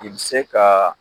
I bi se kaa